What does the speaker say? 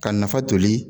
Ka nafa toli